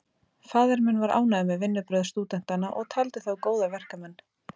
Faðir minn var ánægður með vinnubrögð stúdentanna og taldi þá góða verkmenn.